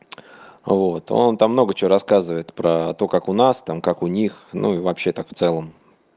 вот он там много чего рассказывает про то как у нас то как у них ну и вообще так в целом